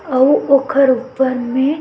अऊ ओखर वन मे--